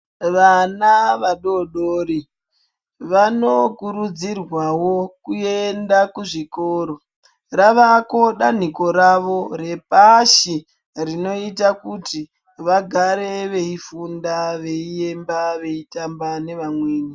Vana vadodori vanokurudzirwa wo kuenda kuzvikora. Ravako danhiko ravo repashi rinoita kuti vagare veifunda, veiramba veiramba nevamweni.